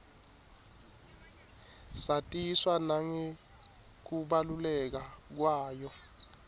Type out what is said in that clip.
satiswa nangekubaluleka kwayo